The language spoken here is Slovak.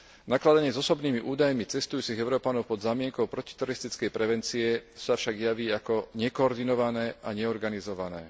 Nakladanie s osobnými údajmi cestujúcich Európanov pod zámienkou protiteroristickej prevencie sa však javí ako nekoordinované a neorganizované.